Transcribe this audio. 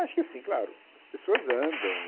Acho que assim, claro, as pessoas andam.